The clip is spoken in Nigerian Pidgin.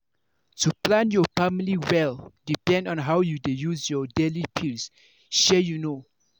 to plan your family well depend on how you dey use your daily pills shey you know.